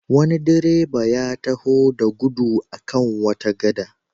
Wani direba ya taho da gudu a kan wata gada.